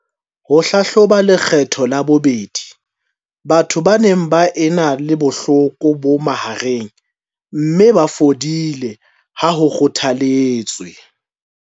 Ho hlahloba lekgetlo la bobedi batho ba neng ba ena le bohloko bo mahareng mme ba fodile ha ho kgothaletswe.